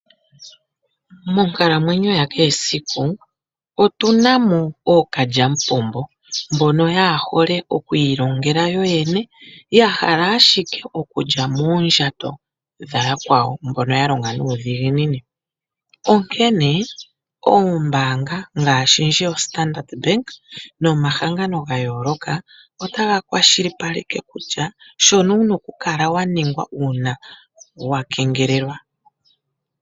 Monkalamwenyo ya kehe esiku, otuna mo ookalyamupombo, mbono yaa ja hole oku ilongela yo yene, ya hala ashike oku lya moondjato dha yakwawo mbono ya longa nuudhiginini. Onkene oombaanga ngaashi ndji yo Standards bank, nomahangano ga yooloka ota ga kwazhilipaleke shono wuna oku kala wa ninga uuna wa kengelelwa.